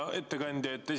Hea ettekandja!